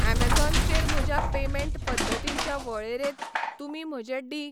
Amazon चेर म्हज्या payment पद्दतींच्या वळेरेंत तुमी म्हजें डी.